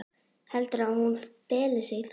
Heldurðu að hún feli sig þar?